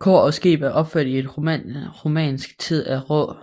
Kor og skib er opført i romansk tid af rå